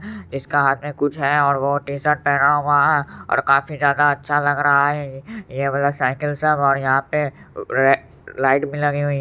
इसका हाथ में कुछ है और वो टी-शर्ट भी पहना हुआ है और काफी ज्यादा अच्छा लग रहा ये वाला साइकिल सब और यहां पर लाइट भी लगी हुई है।